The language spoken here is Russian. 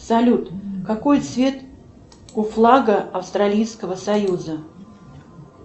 салют какой цвет у флага австралийского союза